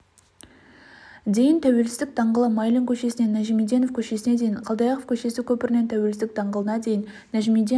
дейін тәуелсіздік даңғылы майлин көшесінен нажмиденов көшесіне дейін қалдыаяқов көшесі көпірінен тәуелсіздік даңғылына дейін нажмиденов